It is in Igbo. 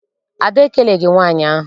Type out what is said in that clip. Ada ekeleghi nwaanyị ahụ.